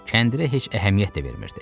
Kəndirə heç əhəmiyyət də vermirdi.